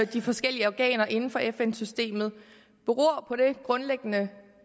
de forskellige organer inden for fn systemet beror på den grundlæggende